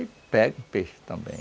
pega o peixe também.